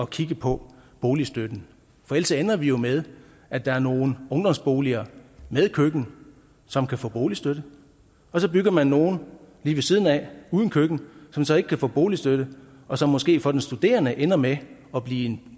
kigge på boligstøtten for ellers ender vi jo med at der er nogle ungdomsboliger med køkken som kan få boligstøtte og så bygger man nogle lige ved siden af uden køkken som så ikke kan få boligstøtte og som måske for den studerende ender med at blive en